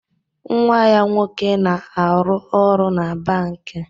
Nwa ya nwoke na-arụ ọrụ na bankị